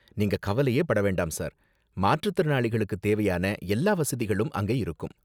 நீங்க கவலையே பட வேண்டாம் சார், மாற்றுத்திறனாளிகளுக்கு தேவையான எல்லா வசதிகளும் அங்கே இருக்கும்.